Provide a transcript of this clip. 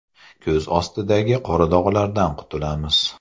Ko‘z ostidagi qora dog‘lardan qutulamiz.